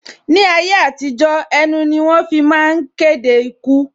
Ni ayé àtijó, ẹnu ni wọ́n fi ń máa ń kéde ikú